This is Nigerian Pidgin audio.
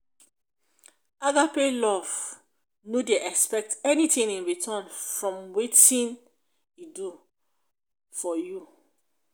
agape love no dey expect anything in return from wetin e do for you